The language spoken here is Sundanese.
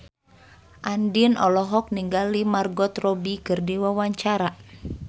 Andien olohok ningali Margot Robbie keur diwawancara